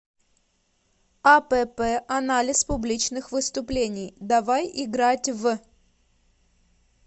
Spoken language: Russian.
апп анализ публичных выступлений давай играть в